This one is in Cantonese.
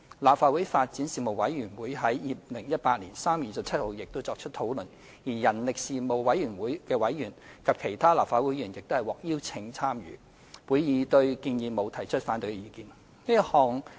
立法會發展事務委員會已在2018年3月27日作出討論，人力事務委員會委員及立法會其他議員亦獲邀參與會議，席間沒有反對上述建議的意見。